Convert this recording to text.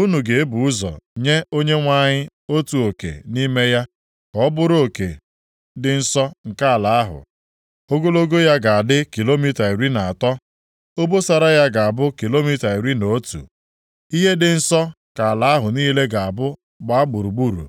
unu ga-ebu ụzọ nye Onyenwe anyị otu oke nʼime ya ka ọ bụrụ oke dị nsọ nke ala ahụ. Ogologo ya ga-adị kilomita iri na atọ, obosara ya ga-abụ kilomita iri na otu. Ihe dị nsọ ka ala ahụ niile ga-abụ gbaa gburugburu.